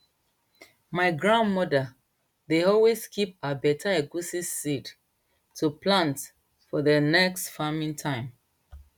my grandmother dey always keep her beta egusi seed to plant for dey next farming time